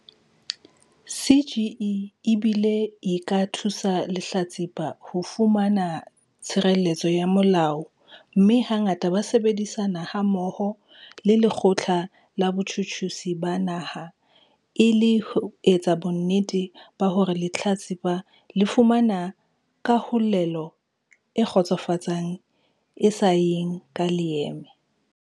CGE e bile e ka thusa lehlatsipa ho fumana tshireletso ya molao mme hangata ba sebedisana hammoho le Lekgotla la Botjhutjhisi ba Naha e le ho etsa bonnete ba hore lehlatsipa le fumana kahlolelo e kgotsofatsang e sa yeng ka leeme.